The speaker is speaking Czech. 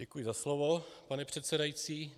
Děkuji za slovo, pane předsedající.